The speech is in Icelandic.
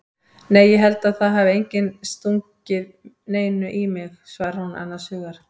Nei ég held að það hafi enginn stungið neinu í mig, svarar hún annars hugar.